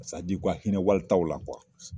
u ka hinɛ walitaw la .